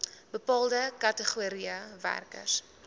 bepaalde kategorieë werkers